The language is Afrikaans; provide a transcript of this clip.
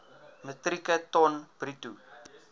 metrieke ton bruto